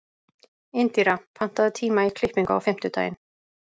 Indíra, pantaðu tíma í klippingu á fimmtudaginn.